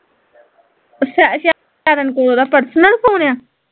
ਅੱਛਾ ਅੱਛਾ, ਸ਼ਰਨ ਕੋਲ ਓਹਦਾ ਪਰਸਨਲ ਫ਼ੋਨ ਆ